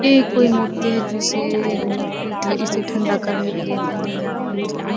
ये कोई मूर्ति है जिसे इसे ठ इसे ठंडा करने लिए ले जा रहै है।